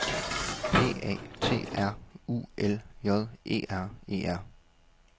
P A T R U L J E R E R